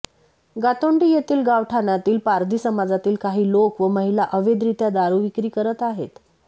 गोतोंडी येथील गावठाणातील पारधी समाजातील काही लोक व महिला अवैधरित्या दारू विक्री करत आहेत